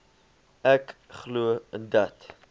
ek glo dat